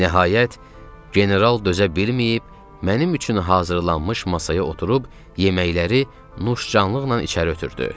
Nəhayət, general dözə bilməyib mənim üçün hazırlanmış masaya oturub yeməkləri nuşcanlıqla içəri ötürdü.